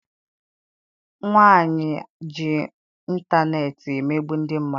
Nwaanyị a ji intaneeti emegbu ndị mmadụ.